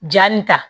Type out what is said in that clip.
Jaa nin ta